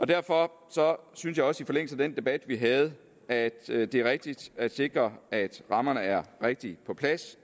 derfor synes jeg også i forlængelse af den debat vi havde at at det er rigtigt at sikre at rammerne er rigtigt på plads